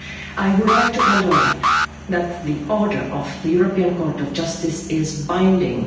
I would like to underline that the order of the European Court of Justice is binding.